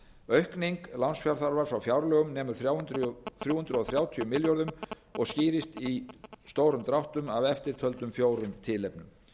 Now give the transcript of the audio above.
aukning lánsfjárþarfar frá fjárlögum nemur þrjú hundruð þrjátíu milljörðum króna og skýrist í stórum dráttum af eftirtöldum fjórum tilefnum